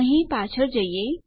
અહીં પાછળ જઈએ